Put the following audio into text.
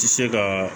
Ti se ka